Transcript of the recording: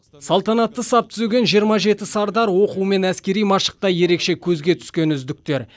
салтанатты сап түзеген жиырма жеті сардар оқу мен әскери машықта ерекше көзге түскен үздіктер